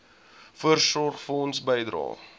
voorsorgfonds bydrae